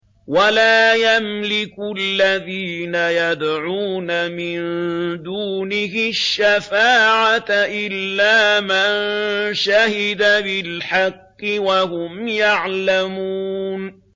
وَلَا يَمْلِكُ الَّذِينَ يَدْعُونَ مِن دُونِهِ الشَّفَاعَةَ إِلَّا مَن شَهِدَ بِالْحَقِّ وَهُمْ يَعْلَمُونَ